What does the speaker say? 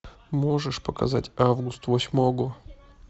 можешь показать август восьмого